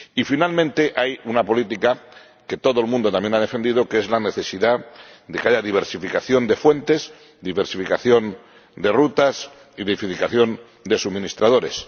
Y finalmente hay una política, que todo el mundo también ha defendido, que es la necesidad de que haya diversificación de fuentes, diversificación de rutas y diversificación de suministradores.